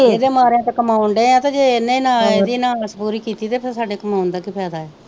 ਇਹਦੇ ਮਾਰਿਆ ਤੇ ਕਮਾਉਣ ਦੇ ਆ ਤੇ ਜੇ ਇਹਨੇ ਨਾ ਇਹਦੀ ਨਾ ਆਸ ਪੂਰੀ ਕੀਤੀ ਤੇ ਫਿਰ ਸਾਡੇ ਕਮਾਉਣ ਦਾ ਕਿ ਫਾਇਦਾ ਏ।